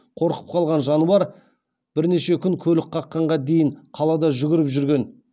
қорқып қалған жануар бірнеше күн көлік қаққанға дейін қалада жүгіріп жүрген